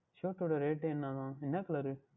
Shirt உடைய Rate என்னவாம் என்ன colour